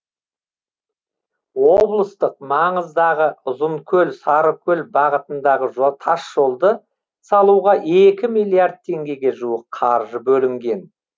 облыстық маңыздағы ұзынкөл сарыкөл бағытындағы тасжолды салуға екі миллиард теңгеге жуық қаржы бөлінген